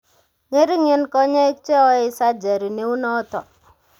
"Ng'ering'en konyoik che oei surgery neunoto .